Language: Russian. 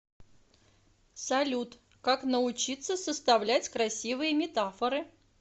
салют как научиться составлять красивые метафоры